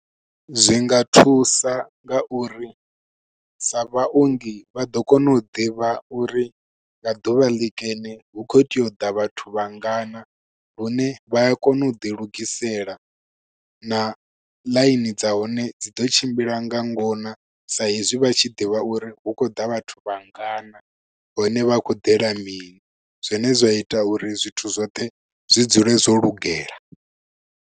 Zwi nga thusa nga uri sa vhaongi vha ḓo kona u ḓivha uri, nga ḓuvha ḽikene hu khou teya u ḓa vhathu vhangana. Lune vha a kona u ḓi lugisela na ḽaini dza hone dzi ḓo tshimbila nga ngona sa hezwi vha tshi ḓivha uri hu khou ḓa vhathu vhangana, hone vha khou ḓela mini. Zwine zwa ita uri zwithu zwoṱhe zwi dzule zwo lugela.